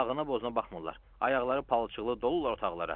Ağına boğazına baxmırlar, ayaqları palçıqlı dolurlar otaqlara.